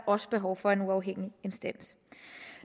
også behov for en uafhængig instans